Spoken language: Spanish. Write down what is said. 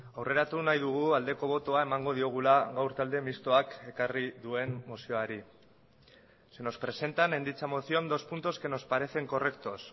aurreratu nahi dugu aldeko botoa emango diogula gaur talde mistoak ekarri duen mozioari se nos presentan en dicha moción dos puntos que nos parecen correctos